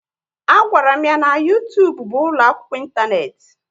A gwara m ya na YouTube bụ ụlọ akwụkwọ intaneti